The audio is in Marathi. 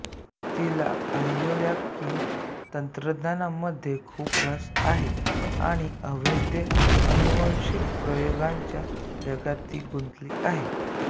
तिला बायोहाकिंग तंत्रज्ञानामध्ये खूप रस आहे आणि अवैध अनुवंशिक प्रयोगांच्या जगात ती गुंतली आहे